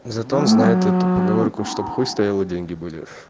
зато он знает эту поговорку чтоб хуй стоял и деньги были